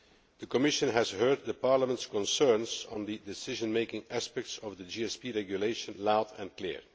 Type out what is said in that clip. The Commission has heard Parliament's concerns on the decision making aspects of the GSP regulation loud and clear.